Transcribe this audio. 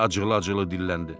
Eliza acıqlı-acıqlı dilləndi.